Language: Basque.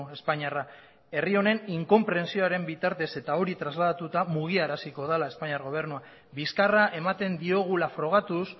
espainiarra herri honen inkonprentsioaren bitartez eta hori trasladatuta mugiaraziko dela espainiar gobernua bizkarra ematen diogula frogatuz